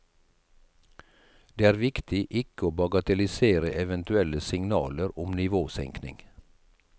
Det er viktig ikke å bagatellisere eventuelle signaler om nivåsenkning.